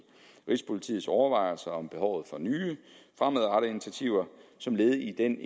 rigspolitiets overvejelser om behovet for nye fremadrettede initiativer som led i den